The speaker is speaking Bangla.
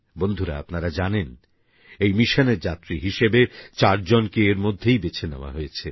বন্ধুরা আপনারা জানেন এই মিশনের যাত্রী হিসেবে চারজনকে এর মধ্যেই বেছে নেওয়া হয়েছে